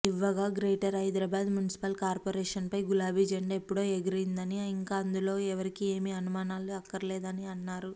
ఇవ్వగగ్రేటర్ Hyderabad municipal కార్పొరేషన్పై గులాబి జెండా ఎప్పుడో ఎగిరిందని ఇంకా అందులో ఎవరికీ ఏమీ అనుమానాలు అక్కర్లేదనిఅన్నారు